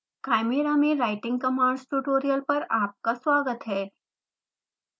chimera में writing commands tutorial पर आपका स्वागत है